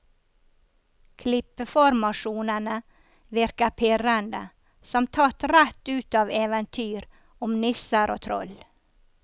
Klippeformasjonene virker pirrende, som tatt rett ut av eventyr om nisser og troll.